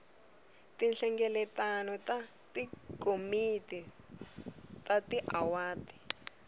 tinhlengeletano ta tikomiti ta tiwadi